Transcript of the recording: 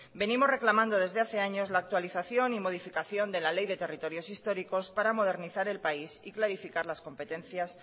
venimos reclamando desde hace años la actualización y modificación de la ley de territorios históricos para modernizar el país y clarificar las competencias